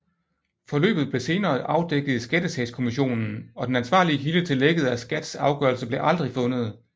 Forløbet blev blev senere afdækket i Skattesagskommissionen og den ansvarlige kilde til lækket af SKATs afgørelse blev aldrig fundet